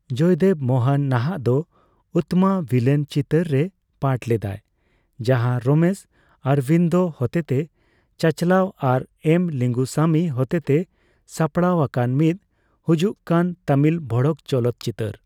ᱡᱚᱭᱫᱮᱵᱽ ᱢᱳᱦᱚᱱ ᱱᱟᱦᱟᱜ ᱫᱚ ᱩᱛᱛᱚᱢᱟ ᱵᱷᱤᱞᱮᱱ ᱪᱤᱛᱟᱹᱨ ᱨᱮᱭ ᱯᱟᱴᱷ ᱞᱮᱫᱟᱭ, ᱡᱟᱦᱟᱸ ᱨᱚᱢᱮᱥ ᱚᱨᱵᱤᱱᱫᱚ ᱦᱚᱛᱮᱛᱮ ᱪᱟᱪᱞᱟᱣ ᱟᱨ ᱮᱱ ᱞᱤᱸᱜᱩᱥᱟᱢᱤ ᱦᱚᱛᱮᱛᱮ ᱥᱟᱯᱲᱟᱣ ᱟᱠᱟᱱ ᱢᱤᱫ ᱦᱩᱡᱩᱜᱠᱟᱱ ᱛᱟᱹᱢᱤᱞ ᱵᱷᱚᱲᱚᱠ ᱪᱚᱞᱚᱛᱪᱤᱛᱟᱹᱨ ᱾